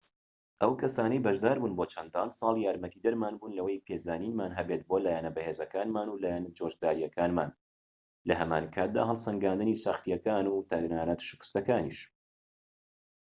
ئەو کەسانەی بەشداربوون بۆ چەندان ساڵ یارمەتیدەرمان بوون لەوەی پێزانینمان هەبێت بۆ لایەنە بەهێزەکانمان و لایەنە جۆشداریەکانمان لە هەمانکاتدا هەڵسەنگاندنی سەختیەکان و تەنانەت شکستەکانیش